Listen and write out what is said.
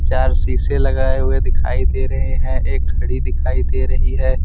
चार शीशे लगाए हुए दिखाई दे रहे है एक घड़ी दिखाई दे रही है।